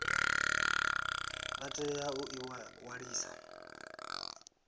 vha tea u ḓi ṅwalisa